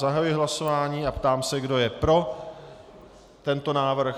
Zahajuji hlasování a táži se, kdo je pro tento návrh.